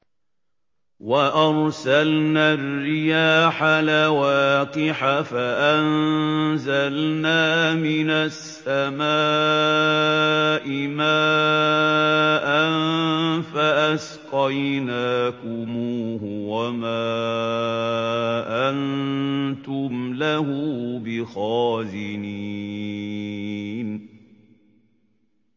وَأَرْسَلْنَا الرِّيَاحَ لَوَاقِحَ فَأَنزَلْنَا مِنَ السَّمَاءِ مَاءً فَأَسْقَيْنَاكُمُوهُ وَمَا أَنتُمْ لَهُ بِخَازِنِينَ